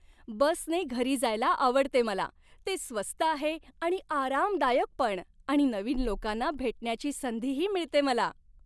बसने घरी जायला आवडते मला. ते स्वस्त आहे आणि आरामदायक पण आणि नवीन लोकांना भेटण्याची संधीही मिळते मला.